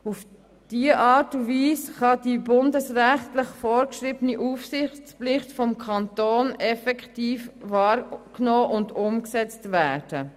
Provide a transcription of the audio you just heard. Auf diese Art und Weise kann die bundesrechtlich vorgeschriebene Aufsichtspflicht des Kantons effektiv wahrgenommen und umgesetzt werden.